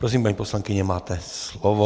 Prosím, paní poslankyně, máte slovo.